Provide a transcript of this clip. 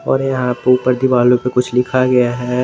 और यहां पे ऊपर दीवालो पे कुछ लिखा गया है।